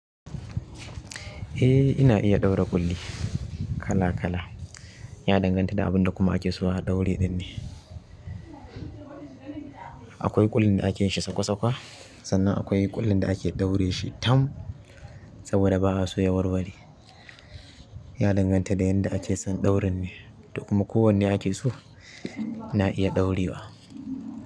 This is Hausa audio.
Eh ina iya ɗaura ƙulli kala-kala. Ya danganta da abin da kuma ake so a ɗaure ɗin ne. Akwai ƙullin da ake yin shi sakwa-sakwa sannan akwai ƙullin da ake ɗaure shi tam saboda ba a so ya warware. Ya danganta da yadda ake son ɗaurin ne. Kuma ko wanne ake so ina iya ɗaurewa.